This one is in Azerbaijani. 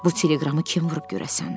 Bu teleqramı kim vurub görəsən?